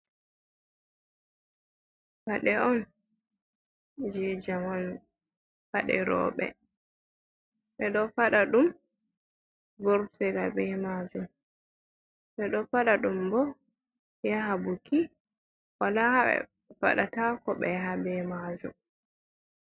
Ɓade on je jamanbade robɓe ɓe ɗo faɗa ɗum burtela ɓe majum ɓe ɗo faɗa ɗum bo yaha buki wala ha ɓe baɗatako ɓe ha ɓemajum.